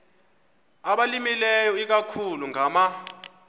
abalimileyo ikakhulu ngama